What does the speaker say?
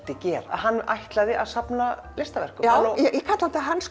gera hann ætlaði að safna listaverkum já ég kalla hann